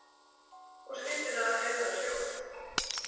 Og skyndilega heyrðum við hljóð.